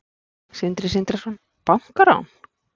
Sindri Sindrason: Bankarán?